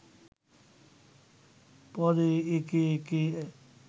পরে একে একে